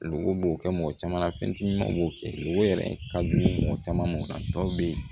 Lɔgɔ b'o kɛ mɔgɔ caman na fɛn timimanw b'o kɛ golo yɛrɛ ka di mɔgɔ caman b'o la dɔw bɛ yen